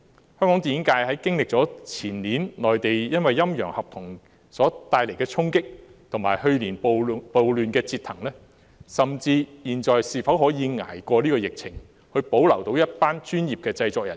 香港電影界經歷了前年內地"陰陽合同"帶來的衝擊，以及去年暴亂的折騰，現時是否可以捱過疫情，保留一群專業的製作人員？